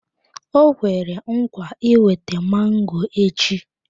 O kwere nkwa iweta mango echi.